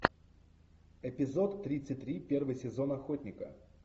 эпизод тридцать три первый сезон охотника